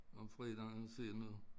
Om fredagen og se noget